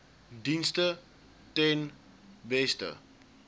dienste ten beste